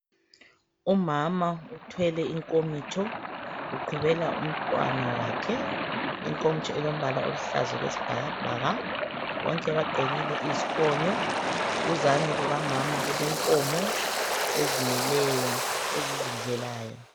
Umama uthwele inkomitsho uqhubela umntwana wakhe inkomitsho ilombala oluhlaza okwesibhakabhaka, bonke bagqokile izifonyo duzane kukamama kule nkomo ezimileyo ezizidlelayo.